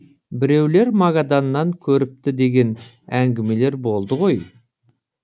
біреулер магаданнан көріпті деген әңгімелер болды ғой